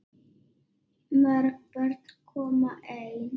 Mörg börn koma ein.